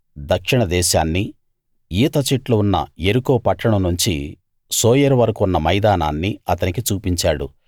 దక్షిణ దేశాన్నీ ఈత చెట్లు ఉన్న యెరికో పట్టణం నుంచి సోయరు వరకూ ఉన్న మైదానాన్నీ అతనికి చూపించాడు